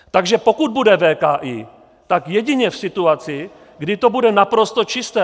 Takže pokud bude VKI, tak jedině v situaci, kdy to bude naprosto čisté.